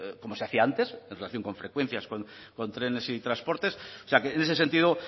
como se hacía antes en relación con frecuencias con trenes y transportes o sea que en ese sentido